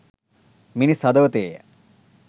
මිනිස් හදවතේය